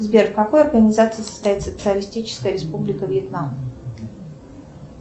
сбер в какой организации состоит социалистическая республика вьетнам